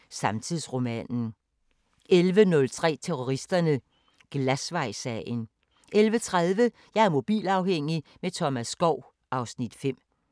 12:15: Opera i guldalderens København (Afs. 5) 00:05: Opera i guldalderens København (Afs. 5)*